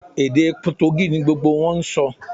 Èdè Potogí ni gbogbo wọn ń sọ